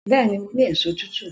Bẹ́ẹ̀ni, mo ni èso tútù